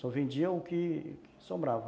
Só vendiam o que sobrava.